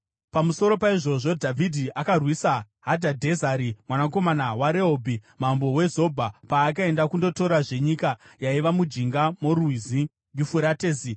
Pamusoro paizvozvo, Dhavhidhi akarwisa Hadhadhezeri mwanakomana waRehobhi, mambo weZobha, paakaenda kundotorazve nyika yaiva mujinga morwizi Yufuratesi.